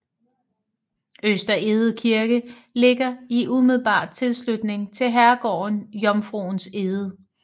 Øster Egede Kirke ligger i umiddelbar tilslutning til herregården Jomfruens Egede